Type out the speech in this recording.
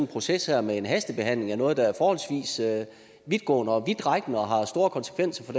proces her med en hastebehandling af noget der er forholdsvis vidtgående og vidtrækkende og har store konsekvenser